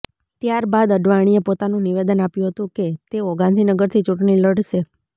ત્યારબાદ અડવાણીએ પોતાનું નિવેદન આપ્યું હતું કે તેઓ ગાંધીનગરથી ચૂંટણી લડશે